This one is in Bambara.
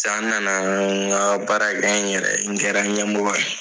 Sisan n nana n ka baara kɛ n yɛrɛ n kɛra ɲɛmɔgɔ ye.